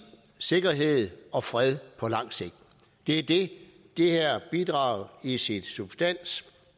sikkerhed og fred på lang sigt det er det det her bidrag i sin substans